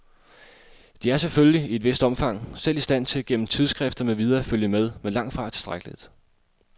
De er selvfølgelig, i et vist omfang, selv i stand til, gennem tidsskrifter med videre at følge med, men langtfra tilstrækkeligt.